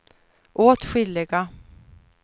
åtskilliga